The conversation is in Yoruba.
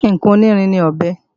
Ǹkan onírin ní ọ̀bẹ